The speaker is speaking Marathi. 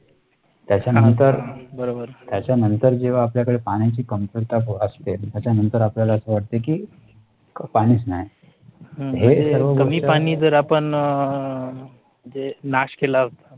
त्याच्या नंतर त्याच्या नंतर जेव्हा आपल्याकडे पाण्याची कमतरता भासते, त्याच्या नंतर आपल्याला असे वाटते की पाणीच नाही. कमी पाणी जर आपण जे नाश केला